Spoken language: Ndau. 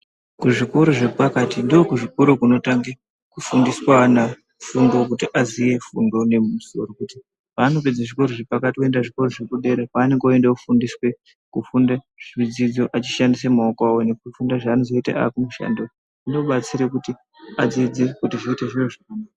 Kuzvikora zvepakati ndokunotanga kufundiswa ana fundo kuti aziye fundo nemumusoro kuti paanopedza zvukora zvepakati oenda kuzvikora zvekudera ndiko kwanoenda kunofundiswe kufunda zvidzidzo achishandise maoko aco veifundiswa zvava nozondoita vakumushando zvinodetsera kuti adzidze.